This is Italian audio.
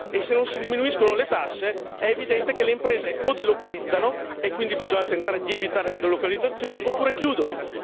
E se non si diminuiscono le tasse, è evidente che le imprese o delocalizzano e quindi bisogna tentare di evitare le delocalizzazioni oppure chiudono.